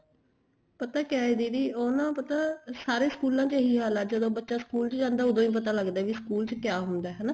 ਪਤਾ ਕਿਹਾ ਏ ਦੀਦੀ ਉਹ ਨਾ ਪਤਾ ਸਾਰੇ ਸਕੂਲਾਂ ਚ ਏਹੀ ਹਾਲ ਆ ਜਦੋਂ ਬੱਚਾ ਸਕੂਲ ਚ ਜਾਂਦਾ ਉਹਦੋ ਹੀ ਪਤਾ ਲੱਗਦਾ ਵੀ ਸਕੂਲ ਚ ਕਿਆ ਹੁੰਦਾ ਹਨਾ